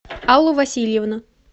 аллу васильевну